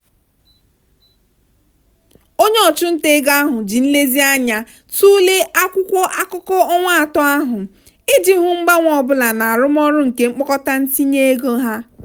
onye ọchụnta ego ahụ ji nlezianya tụle akwụkwọ akụkọ ọnwa atọ ahụ iji hụ mgbanwe ọ bụla na arụmọrụ nke mkpokọta ntinye ego ha.